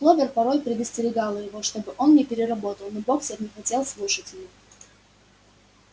кловер порой предостерегала его чтобы он не переработал но боксёр не хотел слушать её